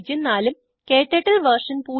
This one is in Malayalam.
ഉം ക്ടർട്ടിൽ വെർഷൻ